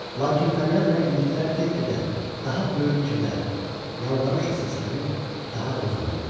Lakin fəryad və iniltilər get-gedə daha böyük kədər, yalvarışla səslənir, daha da uzanırdı.